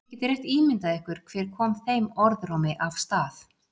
Þið getið rétt ímyndað ykkur hver kom þeim orðrómi af stað.